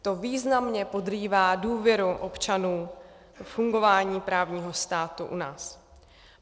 To významně podrývá důvěru občanů ve fungování právního státu u nás.